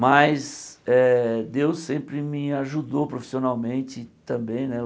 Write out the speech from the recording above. Mas eh Deus sempre me ajudou profissionalmente também né eu.